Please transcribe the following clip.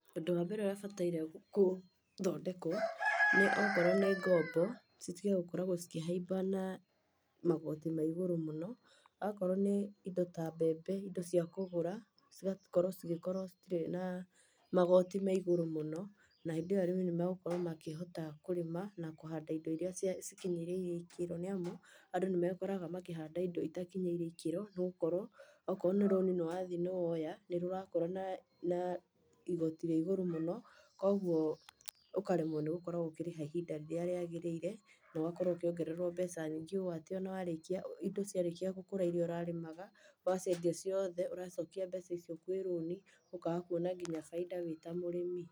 Ũndũ wa mbere ũrĩa ũbataire gũthondekwo nĩ okorwo nĩ ngombo, citige gũkoragwo cikĩhaimba na magoti ma igũrũ mũno. Akorwo nĩ indo ta mbembe, indo cia kũgũra, cigakorwo cigĩkorwo citirĩ na magoti ma igũrũ mũno, hĩndĩ ĩyo arĩmi nĩ magũkorwo makĩhota kũrĩma na kũhanda indo iria cia cikinyĩrĩirie ikĩro, nĩ amu, andũ nĩ mekoraga makĩhanda itakinyĩire ikĩro nĩgũkorwo okorwo nĩ rũni, nĩwathi nĩwoya, nĩ rũrakorwo na igoti ria igũrũ mũno koguo ũkaremwo nĩ gũkoragwo ũkĩrĩha kwa ihinda rĩrĩa rĩagĩrĩire, na ũgakorwo ũkĩongererwo mbeca nyingĩ o atĩ ona warĩkia, indo ciarĩkia gũkũra iria ũrarĩmaga, ũgaciendia ciothe ũracokia mbeca icio kwĩ rũni, ũkaga kuona nginya bainda wĩta mũrĩmi.